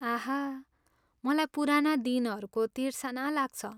आह, मलाई पुराना दिनहरूको तिर्सना लाग्छ।